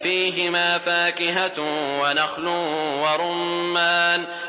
فِيهِمَا فَاكِهَةٌ وَنَخْلٌ وَرُمَّانٌ